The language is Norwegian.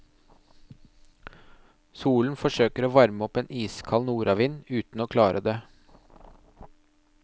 Solen forsøker å varme opp en iskald nordavind, uten å klare det.